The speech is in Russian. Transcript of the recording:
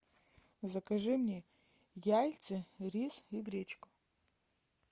закажи мне яйца рис и гречку